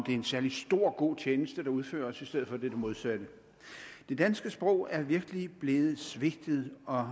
en særlig stor og god tjeneste der udføres i stedet for det modsatte det danske sprog er virkelig blevet svigtet og